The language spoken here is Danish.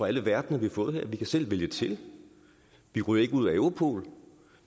alle verdener vi har fået her vi kan selv vælge til vi ryger ikke ud af europol